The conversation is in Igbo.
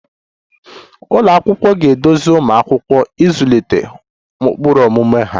Ụlọ akwụkwọ ga-eduzi ụmụ akwụkwọ ịzụlite ụkpụrụ omume ọma